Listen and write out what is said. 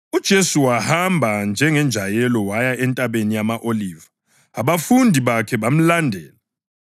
UJesu wahamba njengenjayelo waya eNtabeni yama-Oliva, abafundi bakhe bamlandela.